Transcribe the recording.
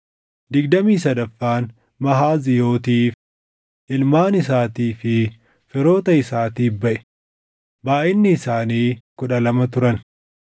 digdamii sadaffaan Mahaaziyootiif, // ilmaan isaatii fi firoota isaatiif baʼe; // baayʼinni isaanii kudha lama turan